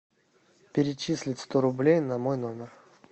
перечислить сто рублей на мой номер